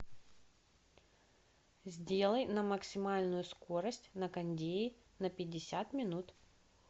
сделай на максимальную скорость на кондее на пятьдесят минут